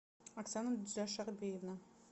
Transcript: оксана джашарбиевна